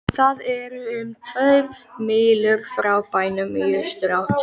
Það er um tvær mílur frá bænum í austurátt.